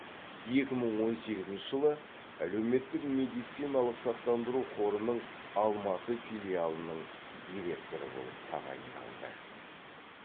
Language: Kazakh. екі мың он сегізінші жылы әлеуметтік медициналық сақтандыру қорының алматы филиалының директоры болып тағайындалды